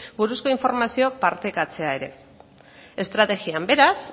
buruzko informazioa partekatzea ere estrategian beraz